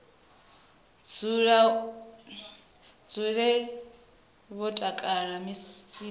dzule vho takala musi vha